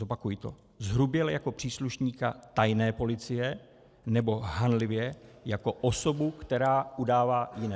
Zopakuji to: zhruběle jako příslušníka tajné policie nebo hanlivě jako osobu, která udává jiné.